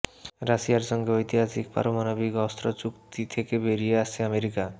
রাশিয়ার সঙ্গে ঐতিহাসিক পারমাণবিক অস্ত্র চুক্তি থেকে বেরিয়ে আসছে আমেরিকা